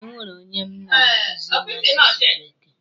E nwere onye m ma na-akuzi asụsụ bekee.